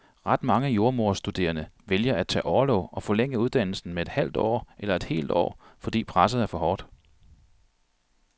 Ret mange jordemoderstuderende vælger at tage orlov og forlænge uddannelsen med et halvt eller et helt år, fordi presset er for hårdt.